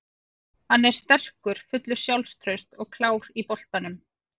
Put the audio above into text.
Hann er sterkur, fullur sjálfstrausts og klár á boltanum.